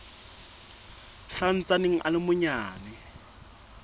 sa ntsaneng a le manyane